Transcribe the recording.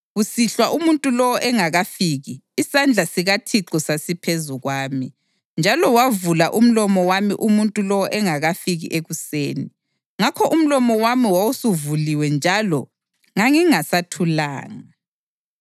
Kusihlwa umuntu lowo engakafiki, isandla sikaThixo sasiphezu kwami, njalo wavula umlomo wami umuntu lowo engakafiki ekuseni. Ngakho umlomo wami wawusuvuliwe njalo ngangingasathulanga.